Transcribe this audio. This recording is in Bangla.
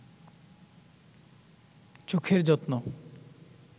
চোখের যত্ন